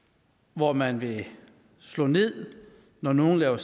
hvor man vil slå ned når nogen laver